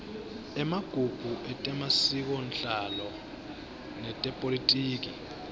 emagugu etemasikonhlalo netepolitiki